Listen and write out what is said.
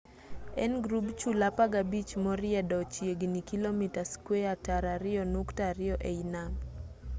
en grub chula 15 moriedo chiegini kilomita squeya tara ariyo nukta ariyo ei nam